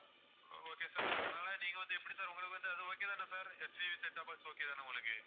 okay sir அதனால நீங்க வந்து எப்படி sir உங்களுக்கு வந்து அது okay தானே sir HCV setup box okay தானே உங்களுக்கு